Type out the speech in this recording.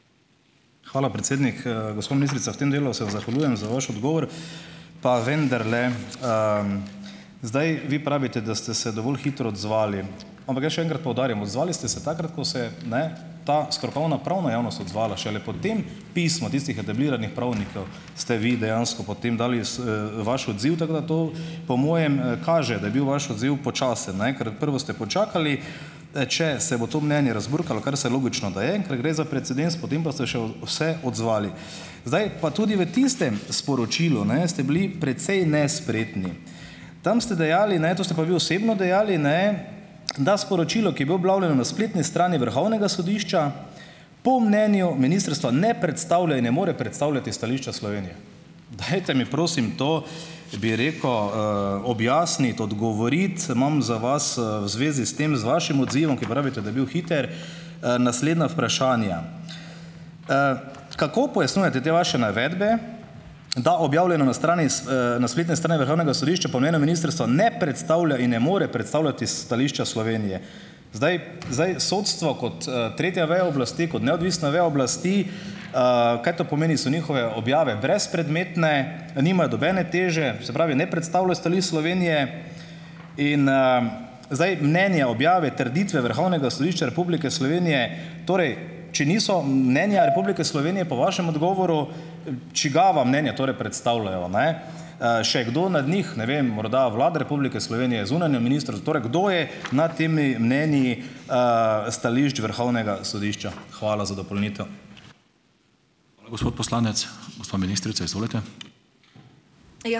Hvala, predsednik Gospa ministrica, v tem delu se vam zahvaljujem za vaš odgovor. Pa vendarle zdaj vi pravite, da ste se dovolj hitro odzvali, ampak jaz še enkrat poudarim, odzvali ste se takrat, ko se ne ta strokovna pravna javnost odzvala, šele potem pismo tistih ste vi dejansko potem dali s vaš odziv, tako da to po mojem kaže, da je bil vaš odziv počasen, ne ker prvo ste počakali, če se bo to mnenje razburkalo, kar se logično, da je, in ker gre za precedens, potem pa ste že se odzvali. Zdaj pa tudi v tistem sporočilu, ne, ste bili precej nespretni. Tam ste dejali, ne, to ste pa vi osebno dejali, ne, da sporočilo, ki je bilo objavljeno na spletni strani Vrhovnega sodišča, po mnenju ministrstva ne predstavlja in ne more predstavljati stališča Slovenije. Dajte mi prosim to, bi rekel, objasniti, odgovoriti. Imam za vas v zvezi s tem, z vašim odzivom, ki pravite, da je bil hiter, naslednja vprašanja. Kako pojasnjujete te vaše navedbe, da objavljeno na strani na spletni strani Vrhovnega sodišča po mnenju ministrstva ne predstavlja in ne more predstavljati stališča Slovenije? Zdaj zdaj sodstvo kot tretja veja oblasti, kot neodvisna veja oblasti, kaj to pomeni, so njihove objave brezpredmetne, nimajo nobene teže, se pravi ne predstavljajo stališč Slovenije? In zdaj mnenje objave, trditve Vrhovnega sodišča Republike Slovenije, torej če niso mnenja Republike Slovenije po vašem odgovoru, čigava mnenja torej predstavljajo, ne? še kdo nad njih? Ne vem, morda Vlada Republike Slovenije, zunanje Torej kdo je nad temi mnenji stališč Vrhovnega sodišča? Hvala za dopolnitev.